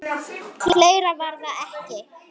. fleira var það ekki.